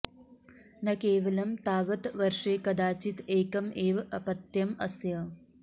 न केवलं तावत् वर्षे कदाचित् एकम् एव अपत्यम् अस्य